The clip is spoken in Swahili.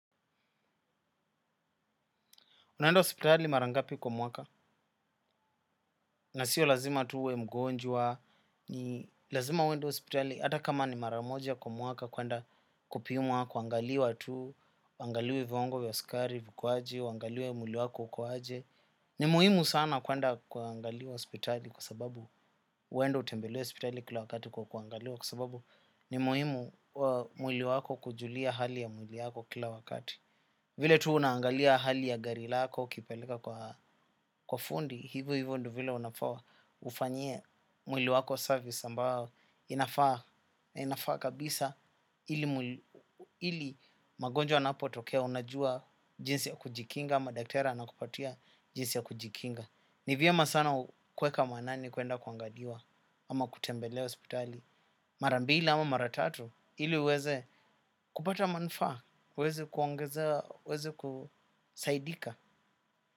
Unaenda hospitali mara ngapi kwa mwaka, na sio lazima tu uwe mgonjwa, ni lazima uende hospitali, hata kama ni mara moja kwa mwaka, kwenda kupimwa, kuangaliwa tu, uangaliwe viwango vya sukari, viko aje, uangaliwe mwili wako uko aje. Ni muhimu sana kwenda kuangaliwa hospitali, kwa sababu uendeo utembelee hospitali kila wakati kwa kuangaliwa, kwa sababu ni muhimu mwili wako kujulia hali ya mwili yako kila wakati. Vile tu unaangalia hali ya gari lako ukipeleka kwa fundi, hivo hivo ndio vile unafaa ufanyie mwili wako service ambao inafaa kabisa ili magonjwa yanapotokea unajua jinsi ya kujikinga ama daktari anakupatia jinsi ya kujikinga. Nivyema sana kueka maanani kuenda kuangaliwa ama kutembelea hospitali mara mbili ama mara tatu ili uweze kupata manufaa uweze kuongezea uweze kusaidika.